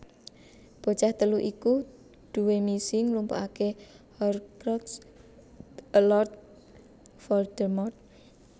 Bocah telu iku duwé misi ngumpulake Horcrux e Lord Voldemort